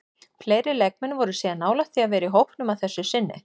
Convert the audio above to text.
Fleiri leikmenn voru síðan nálægt því að vera í hópnum að þessu sinni.